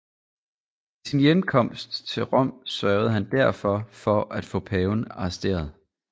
Ved sin hjemkomst til Rom sørgede han derfor for at få paven arresteret